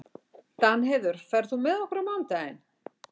Danheiður, ferð þú með okkur á mánudaginn?